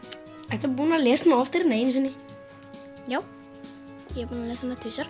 ertu búinn að lesa hana oftar en einu sinni já ég er búinn að lesa hana tvisvar